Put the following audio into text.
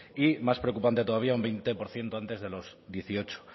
y más preocupante todavía un veinte por ciento antes de los dieciocho